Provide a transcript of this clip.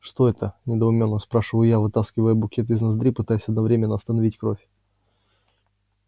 что это недоуменно спрашиваю я вытаскивая букет из ноздри пытаясь одновременно остановить кровь